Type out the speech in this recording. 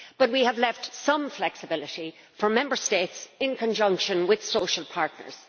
But we have left some flexibility for Member States in conjunction with social partners.